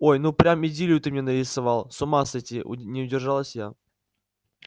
ой ну прям идиллию ты мне нарисовал с ума сойти не удержалась я